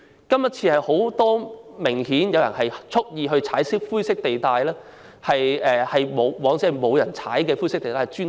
今次明顯有很多人蓄意踩灰色地帶，以往則沒有人會這樣做。